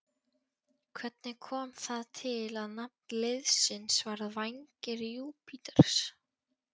Hvernig kom það til að nafn liðsins varð Vængir Júpíters?